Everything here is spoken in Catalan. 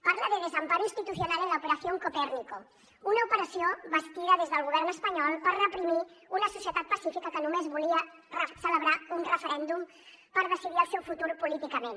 parla de desamparo institucional en la operación copérnico una operació bastida des del govern espanyol per reprimir una societat pacífica que només volia celebrar un referèndum per decidir el seu futur políticament